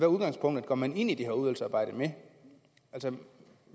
udgangspunkt går man ind i det her udvalgsarbejde vil